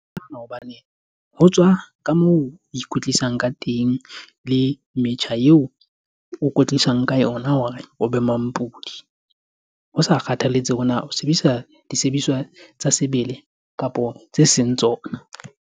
Hobane ho tswa ka moo o ikwetlisang ka teng le metjha eo o kwetlisang ka yona hore o be mampodi. Ho sa kgathaletsehe hore na o sebedisa disebediswa tsa sebele kapo tse seng tsona.